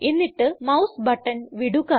എന്നിട്ട് mouse button വിടുക